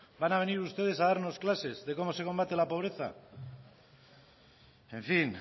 van a venir ustedes a darnos clases de cómo se combate la pobreza en fin